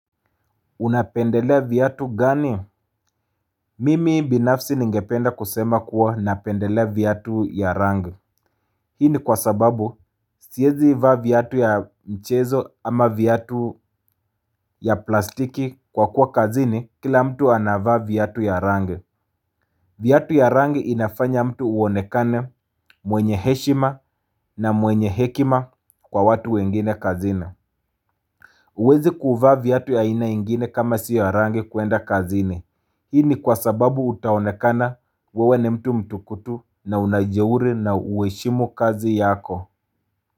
Unapendelea viatu gani? Mimi binafsi ningependa kusema kuwa napendelea viatu ya rangi. Hii ni kwa sababu, siezi vaa viatu ya mchezo ama viatu ya plastiki kwa kuwa kazini kila mtu anavaa viatu ya rangi. Viatu ya rangi inafanya mtu uonekane mwenye heshima na mwenye hekima kwa watu wengine kazini. Huwezi kuvaa viatu ya aina ingine kama si ya rangi kuenda kazini. Hii ni kwa sababu utaonekana wewe ni mtu mtukutu na una ujeuri na huheshimu kazi yako.